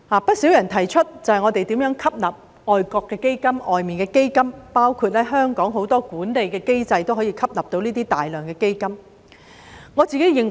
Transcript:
不少人提出應該吸納外國基金，包括香港很多管理機制都可以吸入大量基金。